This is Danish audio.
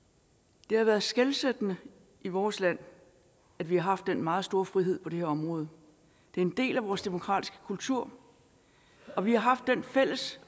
det har været skelsættende i vores land at vi har haft en meget stor frihed på det her område det er en del af vores demokratiske kultur og vi har haft den fælles